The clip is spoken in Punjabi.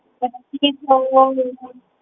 ਪੱਚੀ ਸੋ